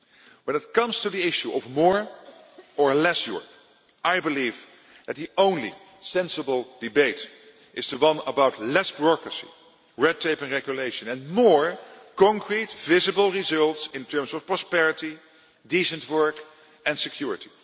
aloof. When it comes to the issue of more' or less' Europe, I believe that the only sensible debate is the one about less bureaucracy, red tape and regulation, and more concrete, visible results in terms of prosperity, decent work and security.